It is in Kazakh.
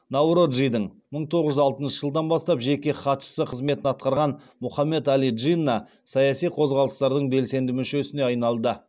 наороджидің мың тоғыз жүз алтыншы жылдан бастап жеке хатшысы қызметін атқарған мұхаммед әли джинна саяси қозғалыстардың белсенді мүшесіне айналды